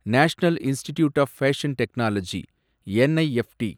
national institute of fashion technology, NIFT